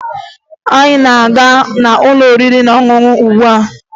Anyị na-aga n'ụlọ oriri na ọṅụṅụ ugbua